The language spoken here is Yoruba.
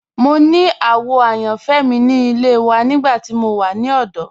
Mo ni àwò àyànfẹ́ mi ni ilẹ̀ wà nígbà tí mo wà ni ọdọ.